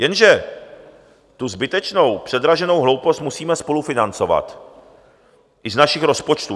Jenže tu zbytečnou předraženou hloupost musíme spolufinancovat i z našich rozpočtů.